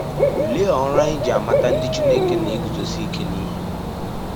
Olee ọrụ anyị ji amata ndị Chineke na - eguzosi ike n’ihe?